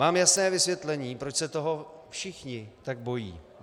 Mám jasné vysvětlení, proč se toho všichni tak bojí.